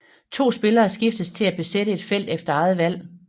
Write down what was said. To spillere skiftes til at besætte et felt efter eget valg